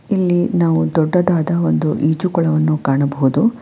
ಇಲ್ಲಿ ನಾವು ದೊಡ್ಡದಾದ ಒಂದು ಈಜುಕೊಳವನ್ನು ಕಾಣಬಹುದು.